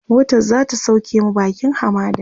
motan zata sauke mu bakin hamadan